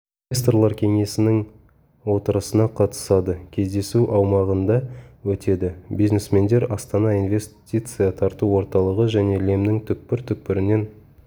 инвесторлар кеңесінің отырысына қатысады кездесу аумағында өтеді бизнесмендер астана инвестиция тарту орталығы жне лемнің түкпір-түкпірінен